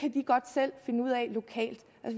lokalt